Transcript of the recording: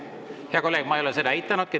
Hea kolleeg, ma ei ole seda eitanudki.